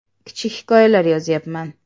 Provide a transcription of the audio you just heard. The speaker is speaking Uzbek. Kichik hikoyalar yozyapman.